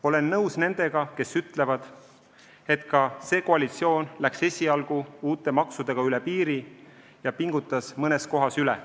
Olen nõus nendega, kes ütlevad, et ka see koalitsioon läks esialgu uute maksudega üle piiri ja pingutas mõnes kohas üle.